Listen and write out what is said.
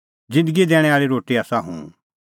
ज़िन्दगी दैणैं आल़ी रोटी आसा हुंह